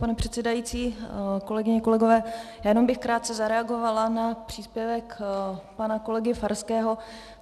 Pane předsedající, kolegyně, kolegové, já jenom bych krátce zareagovala na příspěvek pana kolegy Farského.